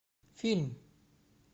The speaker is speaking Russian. фильм